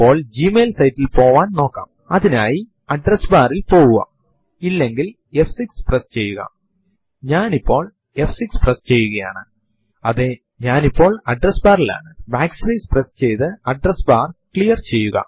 ഈ option നുകളെ കൂട്ടിചേർക്കുവാനും നമുക്ക് കഴിയുംഉദാഹരണത്തിനു പ്രോംപ്റ്റ് ൽ date space plus within double quotes percentage small h percentage small y എന്ന് ടൈപ്പ് ചെയ്തു എന്റർ അമർത്തുക